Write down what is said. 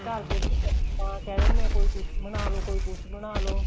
ਘਰ ਦੇ ਵੀ ਕਹਿ ਦਿੰਦੇ ਏ ਕੋਈ ਕੁੱਛ ਬਣਾਲੋ ਕੋਈ ਕੁੱਛ ਬਣਾਲੋ